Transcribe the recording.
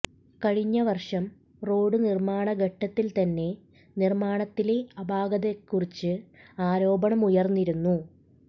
കഴിഞ്ഞവർഷം റോഡ് നിർമാണ ഘട്ടത്തിൽ തന്നെ നിർമാണത്തിലെ അപാകത്തെക്കുറിച്ച് ആരോപണമുയർന്നിരുന്നു